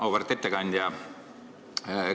Auväärt ettekandja!